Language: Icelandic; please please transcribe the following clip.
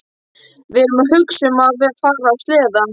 Við erum að hugsa um að fara á sleða.